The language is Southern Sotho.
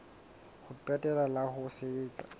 ho qetela la ho sebetsa